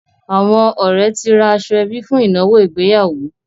Àwọn ọ̀rẹ́ ti ra aṣọ-ẹbí fún ìnáwó ìgbéyàwó.